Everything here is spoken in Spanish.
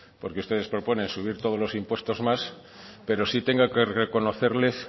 porque ustedes proponen subir todos los impuestos más pero sí tengo que reconocerles